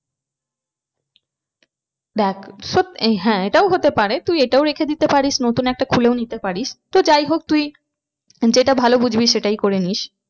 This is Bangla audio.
দেখ হ্যাঁ এটাও হতে পারে তুই এটাও রেখে দিতে পারিস নতুন একটা খুলে নিতে পারিস। তো যাই হোক তুই যেটা ভালো বুঝবি সেটাই করেনিস।